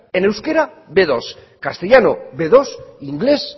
en euskera be dos castellano be dos inglés